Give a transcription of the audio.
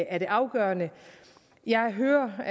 er det afgørende jeg hører hvad